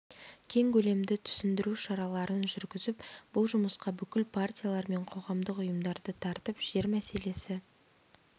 кең көлемді түсіндіру шараларын жүргізіп бұл жұмысқа бүкіл партиялар мен қоғамдық ұйымдарды тартып жер мәселесі